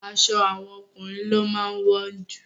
Aṣọ àwọn ọkùnrin ló máa wọ́n jù.